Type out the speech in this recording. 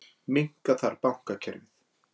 Minnka þarf bankakerfið